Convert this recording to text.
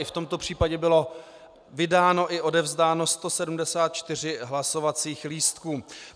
I v tomto případě bylo vydáno i odevzdáno 174 hlasovacích lístků.